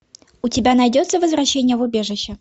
у тебя найдется возвращение в убежище